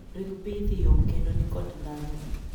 ring mbithi yom kendo ni kod ndhadhu.